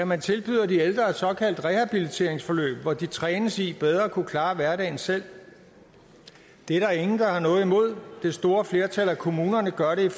man tilbyder de ældre et såkaldt rehabiliteringsforløb hvor de trænes i bedre at kunne klare hverdagen selv det er der ingen der har noget imod det store flertal af kommunerne gør det i